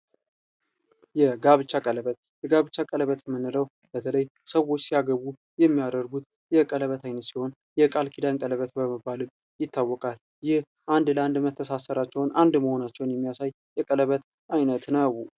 የጋብቻ ቀለበት የምንለው ሰዎች ሲያገቡ የሚያደርጉት ቀለበት ሲሆን ሰዎች አንድ ለአንድ መተሳሰራቸውን የሚያሳይ ነው ።